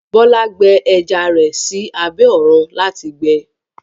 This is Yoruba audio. Bọlá gbẹ ẹjà rẹ sí àbẹ̀ ọ̀run láti gbẹ̀